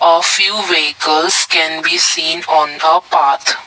a few vehicles can be seen on the path.